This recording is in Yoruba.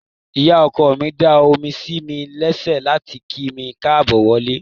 Ìyá ọkọ mi da omi sí mi lẹ́sẹ̀ láti kí mi káàbọ̀ wọlé.